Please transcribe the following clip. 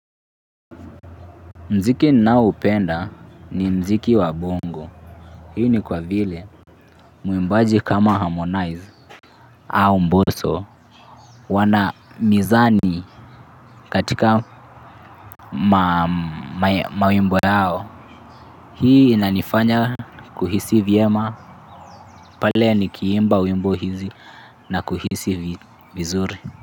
Mziki naoupenda ni mziki wa bongo. Hii ni kwa vile. Muimbaji kama harmonize au mboso. Wana mizani katika mawimbo yao. Hii inanifanya kuhisi vyema. Pale nikiimba wimbo hizi na kuhisi vizuri.